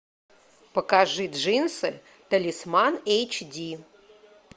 покажи джинсы талисман эйч ди